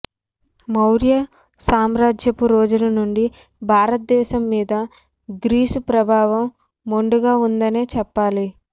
మౌర్య సామ్రాజ్యపు రోజుల నుండి భారత దేశం మీద గ్రీసు ప్రభావం మెండుగా ఉందనే చెప్పాలి